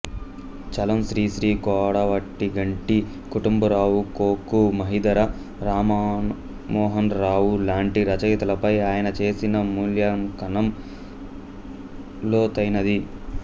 చలం శ్రీశ్రీ కొడవటిగంటి కుటుంబరావు కొ కు మహీధర రామమోహనరావు లాంటి రచయితలపై ఆయన చేసిన మూల్యాంకనం లోతైనది